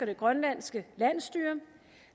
det grønlandske landsstyre